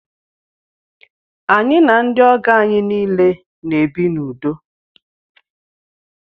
Anyi na ndi ogo anyị niile na ebi na udo